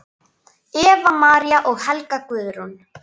Eva María og Helga Guðrún.